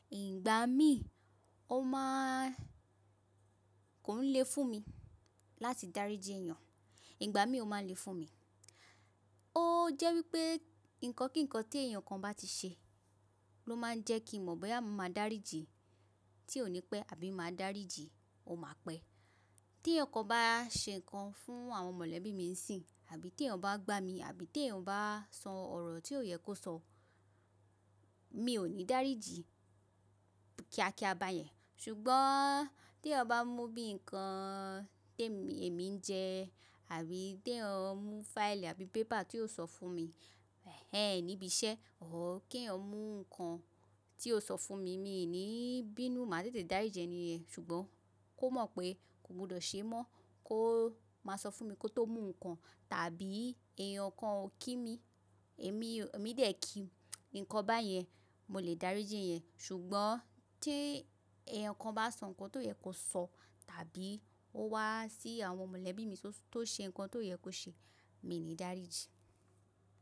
Ìgbà mí ó máà kò le fún mi láti dáríji èyàn, ìgbà mí ó má le fún mi. Ó jẹ́ wípé ǹkan kí ǹkan tí èyàn kan bá ti ṣe ló máa ń jẹ́ kí mo mọ̀ bóyá mo máa dáríji tí ó ní pẹ́ àbí máa dáríji ò má pẹ́. Tí ẹ̀yàn kan bá ṣe ǹkan fún àwọn mọ̀lẹ́bí mi sí àbí tí eyàn bá gbá mi àbí ti eyàn bá sọ ọ̀rọ̀ tí ò yẹ kó sọ, mi ò ní dáríji kíákíá bá yẹn. Ṣùgbọ́n tí eyan bá mú bí ǹkan tí èmi ń jẹ àbí tí ẹ mú fáilì àbí paper ti o sọ fún mi, ẹ níbi iṣẹ́, òr kẹ́yan mú ǹkan tí o sọ fún mi, mi ní bínú, màá tètè dáríji ẹ̀ní yẹn Ṣùgbọ́n kó mọ̀ pé kò gbọdọ̀ ṣe mọ́, kó máa sọ fún mi kó tó mú ǹkan tàbí èyàn kan ó kí mi, èmi dẹ̀ kí ǹkan bá yẹn, mo lè dáríji ẹ̀ yẹn. Ṣùgbọ́n tí eyàn kan bá sọ ǹkan tó yẹ kó sọ tàbí ó wá sí àwọn mọ̀lẹ́bí mi tó ṣe ǹkan tó yẹ kó ṣe, mi ò ní dáríji.